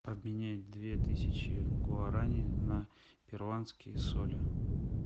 обменять две тысячи гуарани на перуанские соли